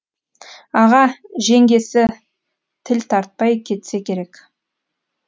аға жеңгесі тіл тартпай кетсе керек